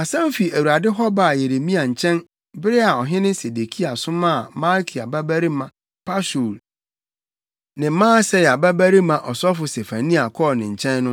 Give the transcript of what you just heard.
Asɛm fi Awurade hɔ baa Yeremia nkyɛn bere a ɔhene Sedekia somaa Malkia babarima Pashur ne Maaseia babarima ɔsɔfo Sefania kɔɔ ne nkyɛn no.